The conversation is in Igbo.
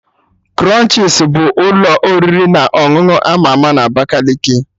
Krunchis ka bụ ụlọ oriri na ọṅụṅụ ama ama na Abakaliki